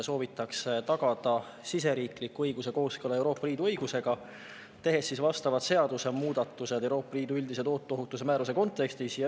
Soovitakse tagada siseriikliku õiguse kooskõla Euroopa Liidu õigusega, tehes vastavad seadusemuudatused Euroopa Liidu üldise tooteohutuse määruse kontekstis.